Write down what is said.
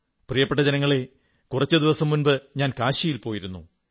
പ്രിയപ്പെട്ട ജനങ്ങളേ കുറച്ചു ദിവസം മുമ്പ് ഞാൻ കാശിയിൽ പോയിരുന്നു